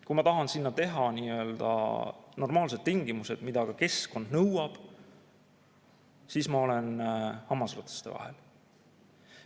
Kui ma aga tahan seal luua nii‑öelda normaalsed tingimused, mida keskkond nõuab, siis ma olen hammasrataste vahel.